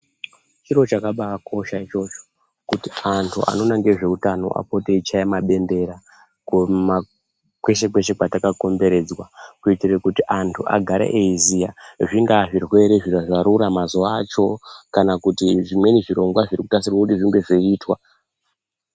Chiro chakabaakosha ichocho kuti antu anoona ngezveutano apote eichaya mabendera kumakweshe kweshe kwetakakomberedzwa kuitire kuti antu agare eiziya .Zvingaazvirwere zvarura mazuwa acho kana zvimweni zvirongwa zviri kugadzirwa kuti zvinge zveeiitwa .